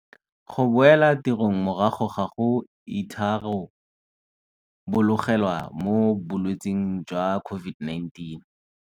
Go boela tirong morago ga go itharabologelwa mo bolwetseng jwa COVID-19